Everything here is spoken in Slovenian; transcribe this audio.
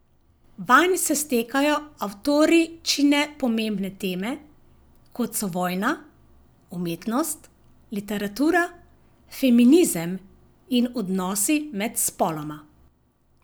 Vanj se stekajo avtoričine pomembne teme, kot so vojna, umetnost, literatura, feminizem in odnosi med spoloma.